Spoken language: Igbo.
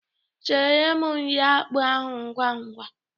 Sere m nri akpụ ahụ ngwangwa!